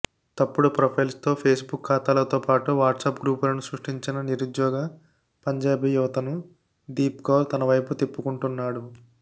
తప్పుడు ప్రొఫైల్స్తో ఫేస్బుక్ ఖాతాలతోపాటు వాట్సాప్ గ్రూపులను సృష్టించి నిరుద్యోగ పంజాబీ యువతను దీప్కౌర్ తనవైపు తిప్పుకుంటున్నాడు